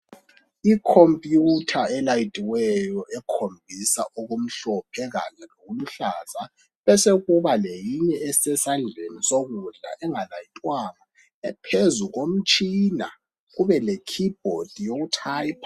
Icomputer elayithiweyo ekhombisa okumhlophe kanye lokuluhlaza. Kube sekusiba lenye esesandleni sokudla, engalayithwanga. Kube lekeyboard, yokutyoper.